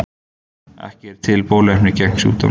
Ekki er til bóluefni gegn sjúkdómnum.